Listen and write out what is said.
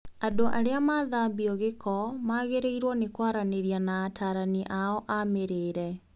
Andũ arĩa marathambio gĩko magĩrĩirwo nĩkwaranĩria na atarani ao a mĩrĩre